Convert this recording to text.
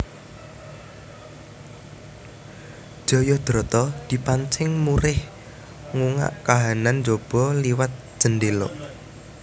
Jayadrata dipancing murih ngungak kahanan njaba liwat jendhéla